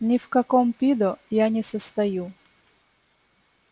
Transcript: ни в каком пидо я не состою